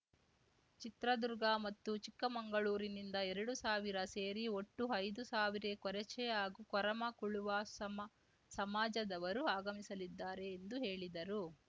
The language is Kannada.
ಚಿತ್ರದುರ್ಗ ಮತ್ತು ಚಿಕ್ಕಮಂಗಳೂರಿನಿಂದ ಎರಡು ಸಾವಿರ ಸೇರಿ ಒಟ್ಟು ಐದು ಸಾವಿರ ಕೊರಚೆ ಹಾಗೂ ಕೊರಮ ಕುಳುವ ಸಮಾ ಸಮಾಜದವರು ಆಗಮಿಸಲಿದ್ದಾರೆ ಎಂದು ಹೇಳಿದರು